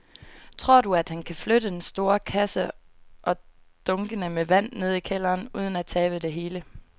Tror du, at han kan flytte den store kasse og dunkene med vand ned i kælderen uden at tabe det hele?